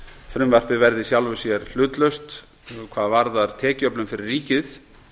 frumvarpið verði í sjálfu sér hlutlaust hvað varðar tekjuöflun fyrir ríkið